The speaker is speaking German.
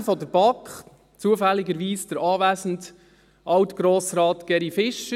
Sprecher der BaK, zufälligerweise der anwesende Alt-Grossrat Geri Fischer.